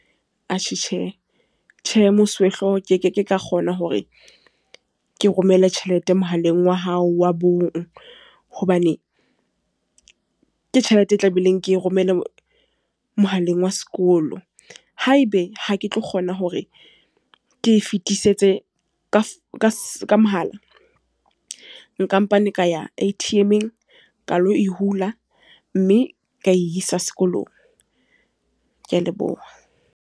Atjhe Tjhe. Tjhe, mosuwehloho ke ke ke ka kgona hore ke romele tjhelete mohaleng wa hao wa bong. Hobane, ke tjhelete e tlameileng ke romele mohaleng wa sekolo. Haebe ha ke tlo kgona hore ke e fetisetse ka mohala. Nkampane ka ya A_T_M-eng, ka lo e hula. Mme ka isa sekolong. Ke a leboha.